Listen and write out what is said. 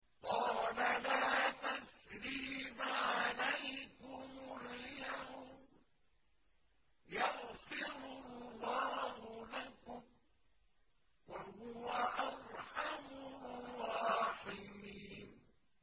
قَالَ لَا تَثْرِيبَ عَلَيْكُمُ الْيَوْمَ ۖ يَغْفِرُ اللَّهُ لَكُمْ ۖ وَهُوَ أَرْحَمُ الرَّاحِمِينَ